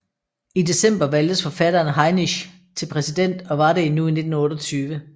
I december valgtes forfatteren Hainisch til præsident og var det endnu i 1928